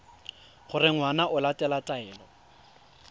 gore ngwana o latela taelo